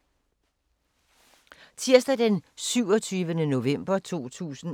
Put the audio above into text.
Tirsdag d. 27. november 2018